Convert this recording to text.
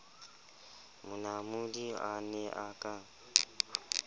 monamodi a ne a ka